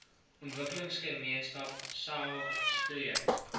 ontwikkelingsgemeenskap saog streek